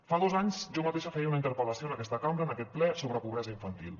fa dos anys jo mateixa feia una interpel·lació en aquesta cambra en aquest ple sobre pobresa infantil